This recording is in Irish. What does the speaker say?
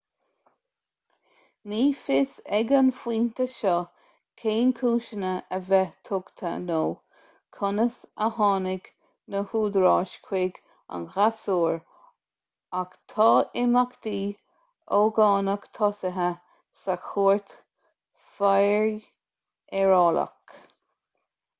ní fios ag an phointe seo cén cúiseanna a bheith tugtha nó conas a tháinig na húdaráis chuig an ghasúr ach tá imeachtaí ógánach tosaithe sa chúirt fheidearálach